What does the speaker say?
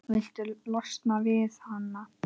Viltu losna við hana?